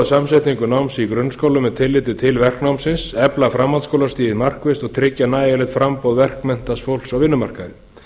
samsetningu náms í grunnskólum með tilliti til verknámsins efla framhaldsskólastigið markvisst og tryggja nægjanlegt framboð verkmenntaðs fólks á vinnumarkaði